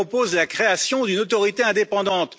Je propose la création d'une autorité indépendante.